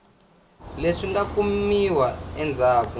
leswi nga ta kumiwa endzhaku